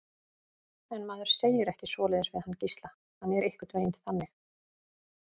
En maður segir ekki svoleiðis við hann Gísla, hann er einhvern veginn þannig.